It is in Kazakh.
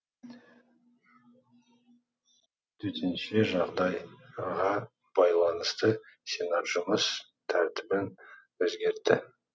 төтенше жағдайға байланысты сенат жұмыс тәртібін өзгертті